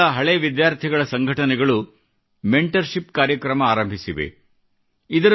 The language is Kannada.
ಕೆಲವು ಸ್ಕೂಲುಗಳ ಹಳೇ ವಿದ್ಯಾರ್ಥಿಗಳ ಸಂಘಟನೆಗಳು ಮೆಂಟರ್ಶಿಪ್ ಕಾರ್ಯಕ್ರಮ ಆರಂಭಿಸಿವೆ